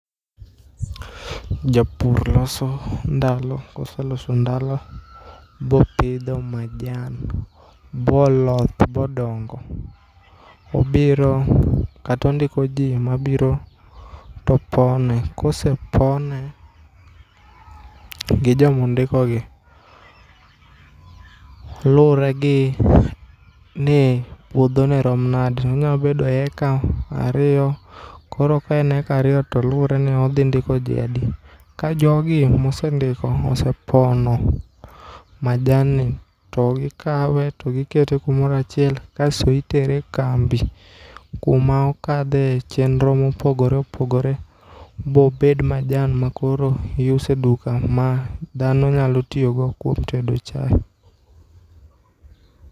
Japur loso ndalo, koseloso ndalo, bopidho majan, boloth, bodongo, obiro, kata ondiko ji mabiro to pone. Kosepone gi joma ondikogi lure gi ni puodho ne rom nade. Onyalo bedo eka ariyo, koro ka en eka ariyo to luwore ni odhi ndiko ji adi. Ka jogi mosendiko osepono majanni, to gikawe to gikete kumoro achiel kasto itere e kambi. Kuma okadhe chendro ma opogore opogore ma obed majan ma koro iuso e duka. Ma dhano nyalo tiyo go kuom tedo chae.